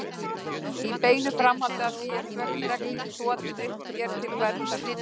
Í beinu framhaldi af því er svört regnhlíf þotin upp mér til verndar.